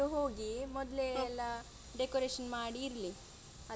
ಇಬ್ರು ಹೋಗಿ ಮೊದ್ಲೇ ಎಲ್ಲ decoration ಮಾಡಿ ಇರ್ಲಿ ಅಲ್ವಾ.